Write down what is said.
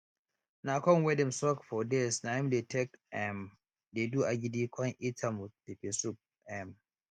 na corn wey dem soak for days na im dey take um dey do agidi con eat am with pepper soup um